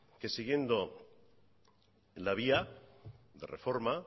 que siguiendo la vía de reforma